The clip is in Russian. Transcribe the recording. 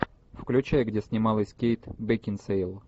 включай где снималась кейт бекинсейл